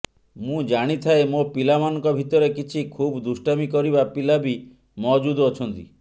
ମୁଁ ଜାଣିଥାଏ ମୋ ପିଲାମାନଙ୍କ ଭିତରେ କିଛି ଖୁବ୍ ଦୁଷ୍ଟାମି କରିବା ପିଲା ବି ମହଜୁଦ୍ ଅଛନ୍ତି